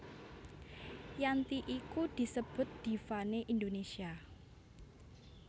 Yanti iku disebut diva né Indonesia